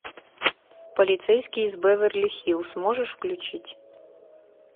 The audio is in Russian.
полицейский из беверли хиллз можешь включить